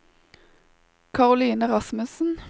Karoline Rasmussen